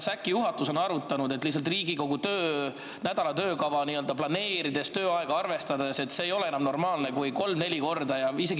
See ei ole enam normaalne, kui kolm-neli korda või vist isegi rohkem on mingite eelnõude arutelu võimatuse tõttu lihtsalt ära jäänud.